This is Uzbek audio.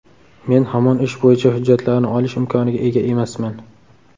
Men hamon ish bo‘yicha hujjatlarni olish imkoniga ega emasman.